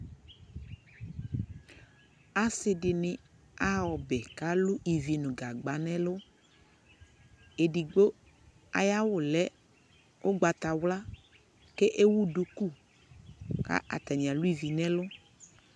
asii dini aha ɔbɛ kʋ alʋ gagba nʋ ɛlʋ, ɛdigbɔ ayi awʋ lɛ ɔgbatawla kɛ ɛwʋ dʋkʋ kʋ atani alʋ ivi nʋ ɛlʋ